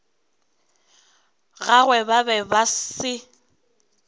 gagwe ba be ba se